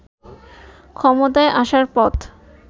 ক্ষমতায় আসার পথ